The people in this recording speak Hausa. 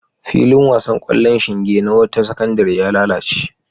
Filin wasan ƙwallon shinge na wata sakandare ya lalace.